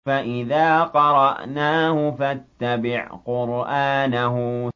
فَإِذَا قَرَأْنَاهُ فَاتَّبِعْ قُرْآنَهُ